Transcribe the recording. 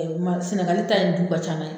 Ɛ ma sɛnɛgali ta in tulu ka ca dɛ